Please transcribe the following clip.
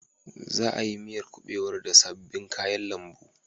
Za a yi miyar kubewar da sabbin kayan lambu.